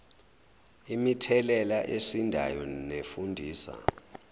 imithelela esindayo nefundisa